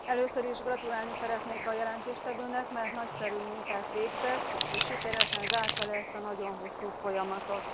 Először is gratulálni szeretnék az előadónak, mert nagyszerű munkát végzett, és sikeresen zárta le ezt a nagyon hosszú folyamatot.